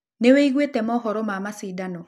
Nĩũĩgũĩte maũhoro ma macindano?